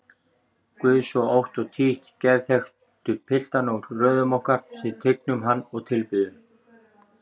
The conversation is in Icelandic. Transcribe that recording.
Guð svo ótt og títt geðþekkustu piltana úr röðum okkar sem tignum hann og tilbiðjum?